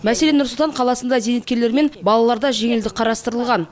мәселен нұр сұлтан қаласында зейнеткерлер мен балаларда жеңілдік қарастырылған